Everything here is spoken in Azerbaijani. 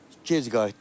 Gec qayıtdım.